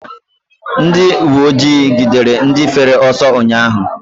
Ndị uweojii gidere ndị fere ọsọ ụnyaahụ.